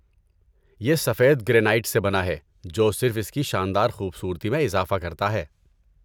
یہ سفید گرینائٹ سے بنا ہے جو صرف اس کی شاندار خوبصورتی میں اضافہ کرتا ہے۔